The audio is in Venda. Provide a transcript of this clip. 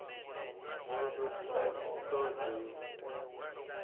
mulondoti a i ṱo ḓei